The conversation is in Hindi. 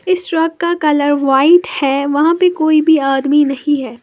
इस ट्रक का कलर व्हाइट है वहां पे कोई भी आदमी नहीं है।